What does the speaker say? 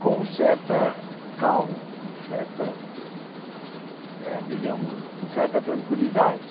com certa calma, com certa eh digamos com certa tranquilidade.